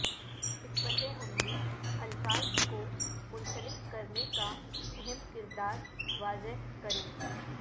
حکمت عملی الفاظ کو منسلک کرنے کا اہم کردار واضح کریں